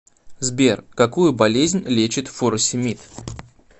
сбер какую болезнь лечит фуросемид